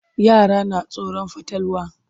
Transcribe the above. Yara na tsoron fatalwa.